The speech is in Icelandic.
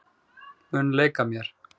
Mun leika mér.